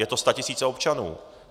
Jsou to statisíce občanů.